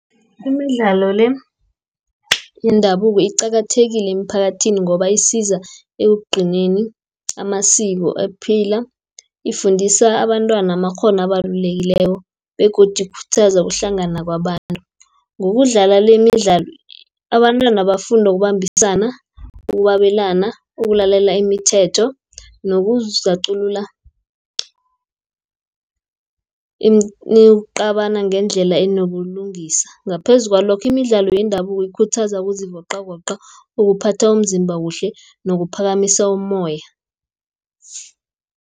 Imidlalo le, yendabuko iqakathekile emphakathini ngoba isiza ekugcineni amasiko aphila. Ifundisa abantwana amakghono abalulekileko, begodu ikhuthaza ukuhlangana kwabantu. Ngokudlala le, imidlalo abantwana bafunda ukubambisana, ukwabelana, ukulalela imithetho, nokuzakuculula ukucabana ngendlela enobulungisa . Ngaphezu kwalokho, imidlalo yendabuko ikhuthaza ukuzivoqavoqa, ukuphatha umzimba kuhle, nokuphakamisa umoya.